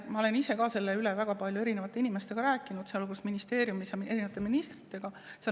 Ma olen ise ka sellest väga paljude inimestega rääkinud, sealhulgas ministritega.